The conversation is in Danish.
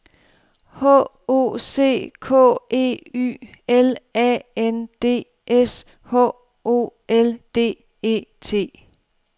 H O C K E Y L A N D S H O L D E T